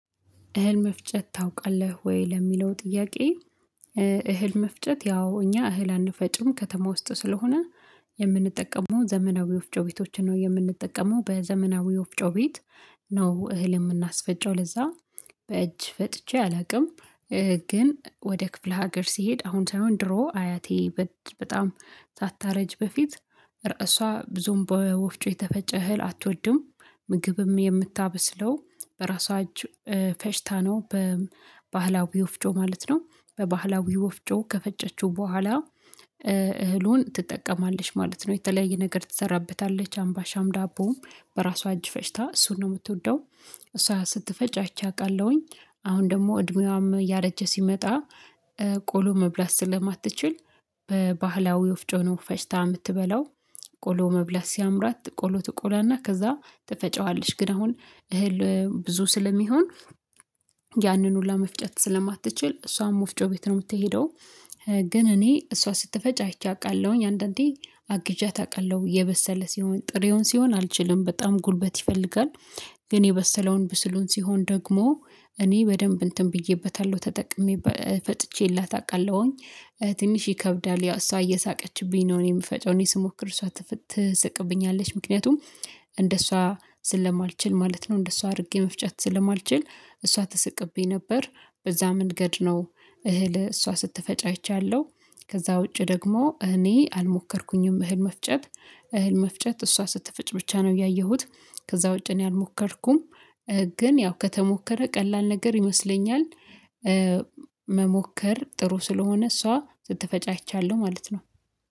እህል መፍጨት ታውቃለህ ወይ ለሚለው ጥያቄ? እህል መፍጨት ያው እኛ እህል አንፈጭም ከተማ ውስጥ ስለሆነ የምንጠቀመው ዘመናዊ ወፍጮ ቤቶችን ነው የምንጠቀመው በዘመናዊ ወፍጮ ቤት ነው እህል የምናስፈጨው ለዛ በእጅ ፈጭቼ አላውቅም። ግን ወደ ክፍለ ሀገር ስሄድ አሁን ሳይሆን ድሮ አያቴ በጣም ሳታረጅ በፊት እሷ ብዙም በወፍጮ የተፈጨ እህል አትወድም ምግብም የምታበስለው በራሷ እጅ ፈጭታ ነው በባህላዊ ወፍጮ ማለት ነው። በባህላዊ ወፍጮ ከፈጨችው በኋላ እህሉን ትጠቀማለሽ ማለት ነው። የተለያየ ነገር ትሰራበታለች አምባሻም ዳቦም በራሷ እጅ ፈጭታ እሱን ነው የምትወደው እሷ ስትፈጭ አይቸ አውቃለሁኝ። አሁን ደግሞ እድሜዋም እያረጀ ሲመጣ ቆሎ መብላት ስለማትችል በባህላዊ ወፍጮ ነው ፈጭታ የምትበላው። ቆሎ መብላት ሲያምራት ቆሎ ትቆላና ከዛ ትፈጨዋለች ግን አሁን እህል ብዙ ስለሚሆን ያንን ሁሉ መፍጨት ስለማትችል እሷም ወፍጮ ቤት ነው የምትሄደው። ግን እኔ እሷ ስትፈጭ አይቼ አውቃለሁኝ አንዳንዴ አግዣት አውቃለሁ የበሰለ ሲሆን ጥሬውን ሲሆን አልችልም በጣም ጉልበት ይፈልጋል። ግን የበሰለውን ብስሉን ሲሆን ደግሞ እኔ በደንብ እንትን ብዬበታለሁ ተጠቅሜ ፈጭቼላታለሁ አውቃለሁኝ። ትንሽ ይከብዳል ያው እሷ እየሳቀችብኝ ነው እኔ የምፈጨው እኔ ስሞክር እሷ ትሰቅብኛለች ምክንያቱም እንደሷ ስለማልችል ማለት ነው እንደሷ አድርጌ መፍጨት ስለማልችል እሷ ትሰቅብኝ ነበር። በዛ መንገድ ነው እህል እሷ ስትፈጭ አይቻለሁ። ከዛ ውጪ ደግሞ እኔ አልሞከርኩኝም። እህል መፍጨት እህል መፍጨት እሷ ስትፈጭ ብቻ ነው ያየሁት። ከዛ ውጪ እኔ አልሞከርኩም። ግን ያው ከተሞከረ ቀላል ነገር ይመስለኛል። መሞከር ጥሩ ስለሆነ እሷ ስትፈጭ አይቻለሁ ማለት ነው